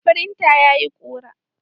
Firintar tayi ƙura.